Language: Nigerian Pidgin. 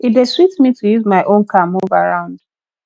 e dey sweet me to use my own car move around